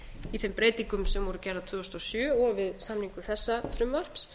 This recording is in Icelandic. í þeim breytingum sem voru gerðar tvö þúsund og sjö og við samningu þessa frumvarps